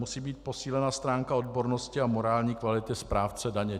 Musí být posílena stránka odbornosti a morální kvality správce daně.